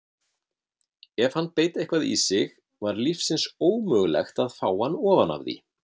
Ef hann beit eitthvað í sig var lífsins ómögulegt að fá hann ofan af því.